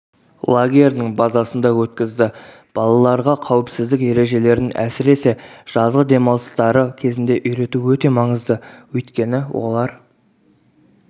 лагерінің базасында өткізді балаларға қауіпсіздік ережелерін әсіресе жазғы демалыстары кезінде үйрету өте маңызды өйткені олар